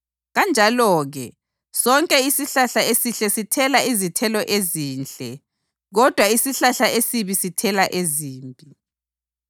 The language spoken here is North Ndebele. Kanjalo-ke, sonke isihlahla esihle sithela izithelo ezinhle kodwa isihlahla esibi sithela ezimbi.